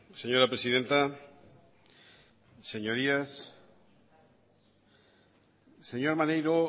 señora presidenta señorías señor maneiro